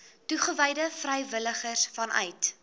toegewyde vrywilligers vanuit